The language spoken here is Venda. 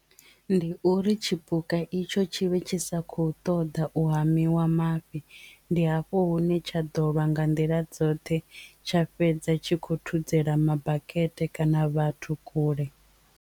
Ndi uri tshipuka itsho tshi vhe tshi sa khou ṱoḓa u hamiwa mafhi ndi hafho hune tsha ḓo lwa nga nḓila dzoṱhe tsha fhedza tshi khou thudzela mabakete kana vhathu kule.